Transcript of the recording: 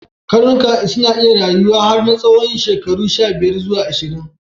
Karnuka na iya rayuwa har na tsawon shekaru shabiyar zuwa ashirin.